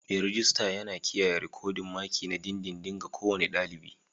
Mai rejista yana kiyaye rikodin maki na dindindin ga kowane ɗalibi.